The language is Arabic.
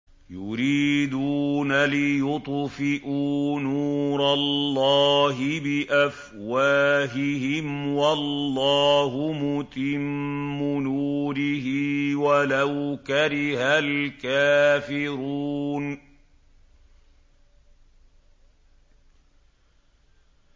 يُرِيدُونَ لِيُطْفِئُوا نُورَ اللَّهِ بِأَفْوَاهِهِمْ وَاللَّهُ مُتِمُّ نُورِهِ وَلَوْ كَرِهَ الْكَافِرُونَ